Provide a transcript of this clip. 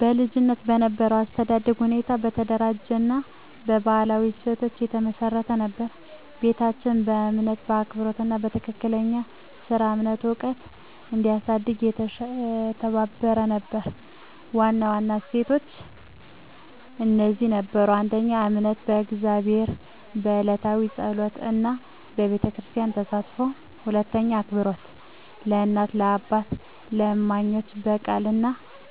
በልጅነቴ የነበረው የአስተዳደግ ሁኔታ በተደራጀ እና በባህላዊ እሴቶች የተመሰረተ ነበር። ቤታችን የእምነት፣ የአክብሮት እና የትክክለኛ ሥራ እምነት ዕውቀት እንዲያሳድግ የተባበረ ነበር። ዋና እሴቶች እነዚህ ነበሩ: 1. እምነት በእግዚአብሔር፣ የዕለታዊ ጸሎት እና በቤተክርስቲያን ተሳትፎ። 2. አክብሮት ለእናት፣ ለአባትና ለእማኞች፣ በቃል እና